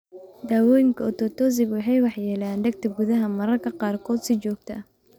Daawooyinka Ototoxic waxay waxyeeleeyaan dhegta gudaha, mararka qaarkood si joogto ah.